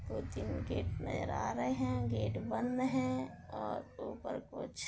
बहोत ही गेट नजर आ रहे हैं गेट बंध है और ऊपर कुछ --